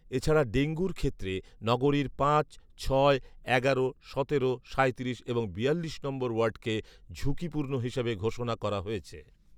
এছাড়া ডেঙ্গুর ক্ষেত্রে নগরীর পাঁচ, ছয়, এগারো, সতেরো, সাঁইত্রিশ এবং বিয়াল্লিশ নম্বর ওয়ার্ডকে ঝুঁকিপূর্ণ হিসেবে ঘোষণা করা হয়েছে